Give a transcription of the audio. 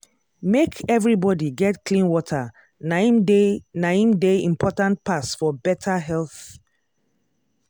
make everybody get clean water na im dey na im dey important pass for better health.